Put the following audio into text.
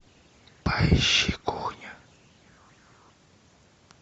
поищи кухню